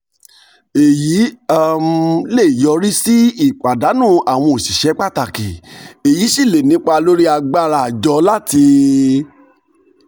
èyí um lè yọrí sí pàdánù um àwọn òṣìṣẹ́ pàtàkì èyí sì lè nípa lórí agbára àjọ láti um